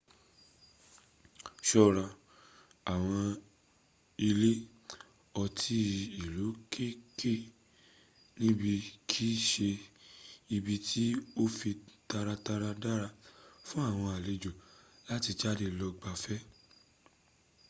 ṣọ́ra àwọn ilé otí ìlú kéèké níbí kìí ṣe ibi tí ó fi taratara dára fún àwọn alejò láti jade lọ gbáfẹ́